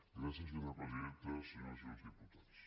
gràcies senyora presidenta senyores i senyors diputats